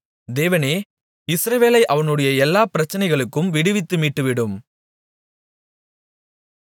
தேவனே இஸ்ரவேலை அவனுடைய எல்லாப் பிரச்சனைகளுக்கும் விடுவித்து மீட்டுவிடும்